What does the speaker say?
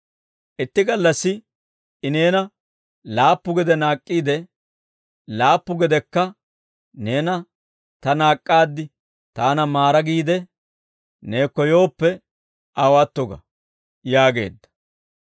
Itti gallassi I neena laappu gede naak'k'iide, laappu gedekka, ‹Neena ta naak'k'aad, taana maara› giidde neekko yooppe, aw atto ga» yaageedda.